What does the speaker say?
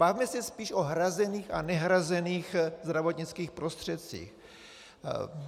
Bavme se spíš o hrazených a nehrazených zdravotnických prostředcích.